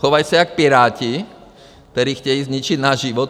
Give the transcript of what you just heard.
Chovají se jak Piráti, který chtějí zničit náš život.